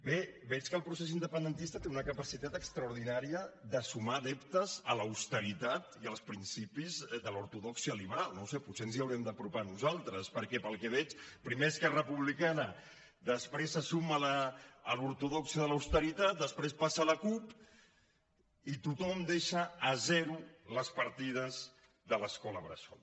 bé veig que el procés independentista té una capacitat extraordinària de sumar adeptes a l’austeritat i als principis de l’ortodòxia liberal no ho sé potser ens hi haurem d’apropar nosaltres perquè pel que veig primer esquerra republicana després se suma a l’ortodòxia de l’austeritat després passa la cup i tothom deixa a zero les partides de l’escola bressol